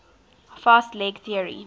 fast leg theory